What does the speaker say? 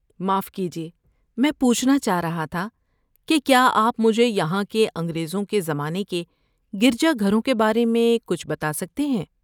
معاف کیجیے، میں پوچھنا چاہ رہا تھا کہ کیا آپ مجھے یہاں کے انگریزوں کے زمانے کے گرجا گھروں کے بارے میں کچھ بتا سکتے ہیں؟